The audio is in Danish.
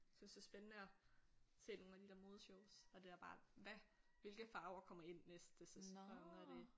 Synes det er spændende at se nogle af de der modeshows og det der bare hvad hvilke farver kommer ind næste sæson og det